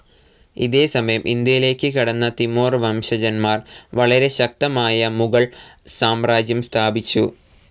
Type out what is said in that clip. ഇതേ സമയം ഇന്ത്യയിലേക്ക് കടന്ന തിമോർ വംശജന്മാർ വളരെ ശക്തമായ മുഗൾ സാമ്രാജ്യം സ്ഥാപിച്ചു.